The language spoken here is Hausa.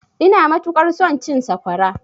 Ina matuƙar son cin sakwara.